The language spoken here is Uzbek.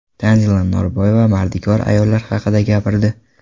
Tanzila Norboyeva mardikor ayollar haqida gapirdi.